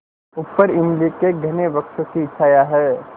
ऊपर इमली के घने वृक्षों की छाया है